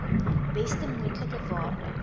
beste moontlike waarde